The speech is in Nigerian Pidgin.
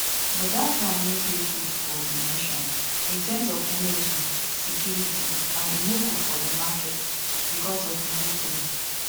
but dat one no dey good for di nation in terms of energy security and e no good for di market bicos of monopoly